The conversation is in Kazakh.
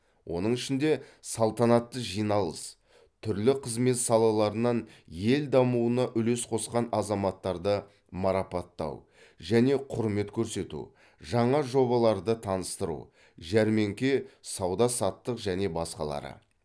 оның ішінде салтанатты жиналыс түрлі қызмет салаларынан ел дамуына үлес қосқан азаматтарды марапаттау және құрмет көрсету жаңа жобаларды таныстыру жәрмеңке сауда саттық және басқалары